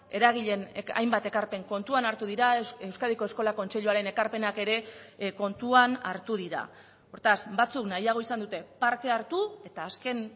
eragileen hainbat ekarpen kontuan hartu dira euskadiko eskola kontseiluaren ekarpenak ere kontuan hartu dira hortaz batzuk nahiago izan dute parte hartu eta azken